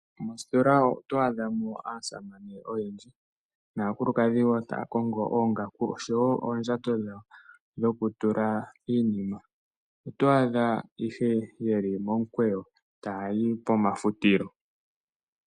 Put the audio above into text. Moostola oto adhamo aasamane oyendji naakulukadhi taya kongo oongaku osho wo oondjato dhawo dhoku tula iinima yawo. Oto adha ihe yeli momikwewo ta yayi pomafutilo.